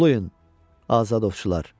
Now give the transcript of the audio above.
Uluyun, azadovçular!